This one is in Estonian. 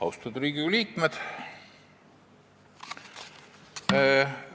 Austatud Riigikogu liikmed!